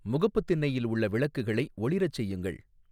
முகப்புத் திண்ணையில் உள்ள விளக்குகளை ஒளிரச் செய்யுங்கள்